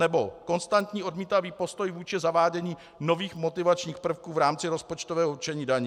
Nebo konstantní odmítavý postoj vůči zavádění nových motivačních prvků v rámci rozpočtového určení daní.